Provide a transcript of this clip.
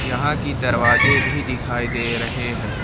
यहां की दरवाजे भी दिखाई दे रहे हैं।